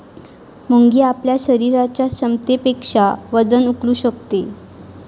मुंगी आपल्या शरीराच्या क्षमतेपेक्षा वजन उचलू शकते